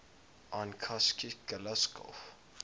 yn cheshaght ghailckagh